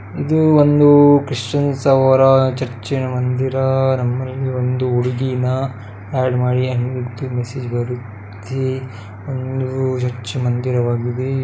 ಇದು ಒಂದು ಕ್ರಿಶ್ಚಿಯನ್‌ರವರ ಚರ್ಚ್‌ನ ಮಂದಿರ ನಮ್ಮಲ್ಲಿ ಒಂದು ಹುಡುಗಿನ ಹ್ಯಾಡ್‌ ಮಾಡಿ ಹಂಗೆ ಅಂತಾ ಒಂದು ಮೇಸೇಜ್‌ ಬರುತ್ತೆ ಇದು ಚರ್ಚ್‌ ಮಂದಿರವಾಗಿರುತ್ತೆ.